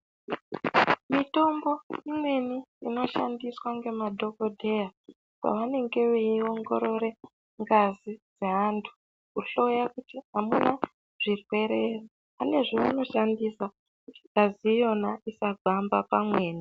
Mitombo imweni inoshandiswa ngemadhokodheya pavanenge veirongorere ngazi dzeantu kuhloya kuti hamuna zvirwere here, pane zvavanoshandisa kuti ngazi iyona isagwamba pamweni.